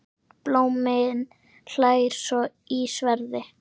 Blómi hlær í sverði.